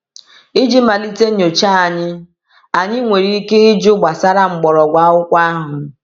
Iji malite nyocha anyị, anyị nwere ike ịjụ gbasara mgbọrọgwụ akwụkwọ ahụ.